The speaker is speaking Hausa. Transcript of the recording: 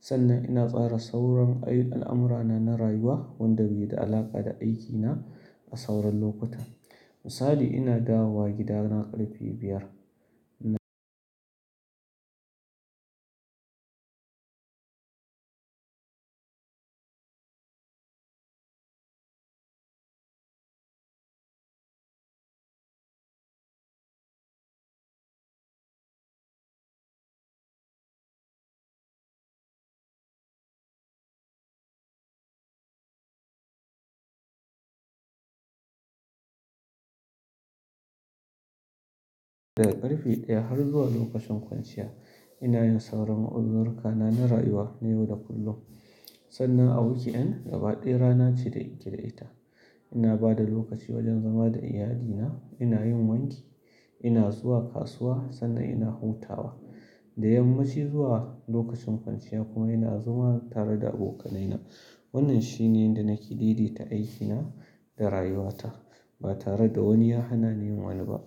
Sannan ina tsara sauran ai, al'amurana na rayuwa wanda bai da alaƙa da aikina a sauran lokuta. Misali ina dawowa gidana ƙarfe biyar. Daga ƙarfe ɗaya har zuwa lokacin kwanciya ina yin sauran uzurkana na rayuwa na yau da kullum. Sannan a wuki'an gaba ɗaya rana ce da nake da ita. Ina ba da lokaci wajen zama da iyalina, ina yin wanki, ina zuwa kasuwa sannan ina hutawa. Da yammaci zuwa lokacin kwanciya kuma ina zuwa tare da abokanaina. Wannan shine yanda nake daidaita aikina da rayuwata ba tare da wani ya hana ni yin wani ba.